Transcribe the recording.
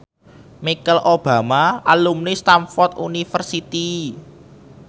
Michelle Obama kuwi alumni Stamford University